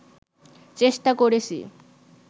চেষ্টা করেছি